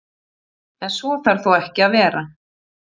En svo þarf þó ekki að vera.